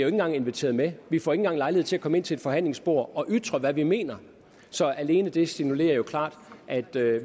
engang inviteret med vi får ikke engang lejlighed til at komme ind til et forhandlingsbord og ytre hvad vi mener så alene det signalerer jo klart at